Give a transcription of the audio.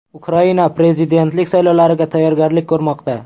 Ukraina prezidentlik saylovlariga tayyorgarlik ko‘rmoqda.